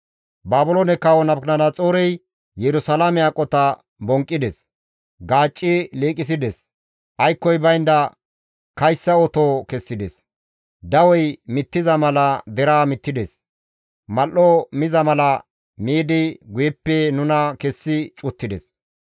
Baabiloone kawo Nabukadanaxoorey Yerusalaame aqota bonqqides; gaacci liiqisides; aykkoy baynda kayssa oto kessides; dawey mittiza mala deraa mittides; mal7o miza mala miidi guyeppe nuna kessi cuttides.